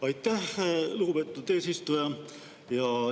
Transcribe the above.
Aitäh, lugupeetud eesistuja!